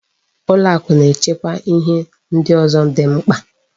Ụlọakụ na-echekwa ihe ndị ọzọ dị mkpa.